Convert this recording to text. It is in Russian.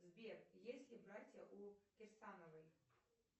сбер есть ли братья у кирсановой